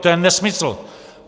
To je nesmysl!